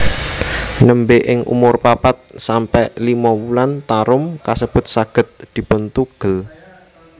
Nembé ing umur papat sampe limo wulan tarum kasebut saged dipuntugel